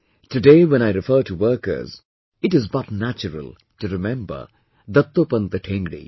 Today when I refer to workers, it is but natural to remember Dattopant Thengdi